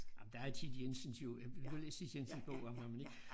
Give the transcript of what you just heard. Jamen der er Thit Jensens jo du har læst Thit Jensens bog om ham ik?